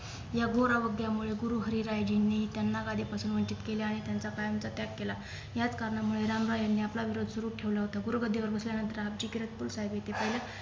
या घोर अवग्यामुळे गुरु हरी रायजींनी त्यांना गादिपासून वंचित केले आहे त्यांच्या कायमचा त्याग केला याच कारणामुळे राम राय यांनी आपला विरोध सुरु ठेवला होता गुरु गादीवर बसल्यानंतर आपजी किरतपूर साहेब येथे पहिल्या